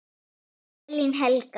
Elín Helga.